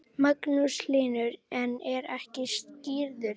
Magnús Hlynur: En er ekki skírður?